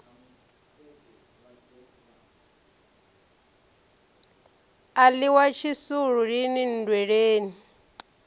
a ḽiwa tshisulu lini nndweleni